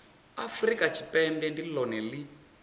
afurika tshipembe ndi lone li